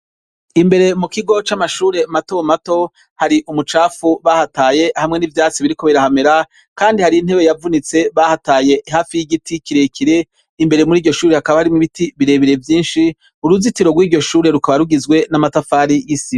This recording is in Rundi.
Imbere mukigo c’amashure mato mato, hari umucafu bahataye hamwe n’ivyatsi biriko birahamera Kandi hari intebe yavunitse bahataye hafi y’igiti kirekire, Imbere muriryo shure hakaba hari ibiti birebire vyinshi, uruzitiro rw’iryo shure rukaba rugizwe n’amatafari y’isima.